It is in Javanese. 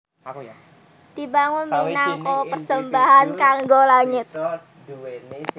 Dibangun minangka persembahan kanggo langit